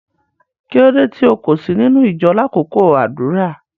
Kilódé tí o kò sí nínu ìjọ̀ lákọkọ àdúrà?